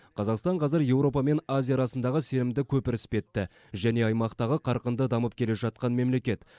қазақстан қазір еуропа мен азия арасындағы сенімді көпір іспетті және аймақтағы қарқынды дамып келе жатқан мемлекет